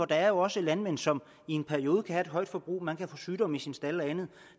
der er jo også landmænd som i en periode kan have et højt forbrug man kan få sygdomme i sin stald og andet